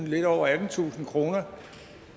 lidt over attentusind kroner